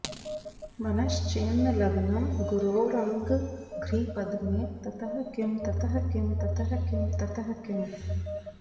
मनश्चेन्न लग्नं गुरोरङ्घ्रिपद्मे ततः किं ततः किं ततः किं ततः किम्